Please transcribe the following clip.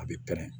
A bɛ pɛrɛn